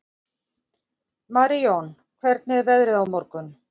Marijón, hvernig er veðrið á morgun?